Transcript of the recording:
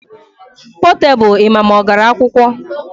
Potebụl ịma ma ọ gara akwụkwọ